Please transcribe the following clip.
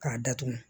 K'a datugu